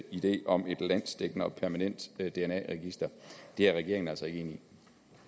idé om et landsdækkende og permanent dna register er regeringen altså i